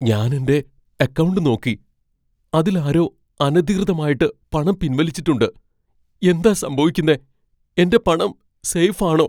ഞാൻ എന്റെ അക്കൗണ്ട് നോക്കി , അതിൽ ആരോ അനധികൃതമായിട്ട് പണം പിൻവലിച്ചിട്ടുണ്ട്. എന്താ സംഭവിക്കുന്നേ? എന്റെ പണം സേഫ് ആണോ?